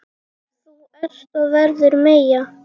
Þú ert og verður Meyja.